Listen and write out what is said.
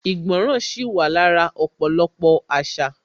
Ìgbọràn sì wà lára ọ̀pọ̀lọpọ̀ àṣà